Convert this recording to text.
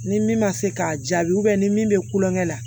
Ni min ma se k'a jaabi ni min bɛ kulonkɛ la